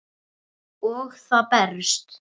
Og það berst.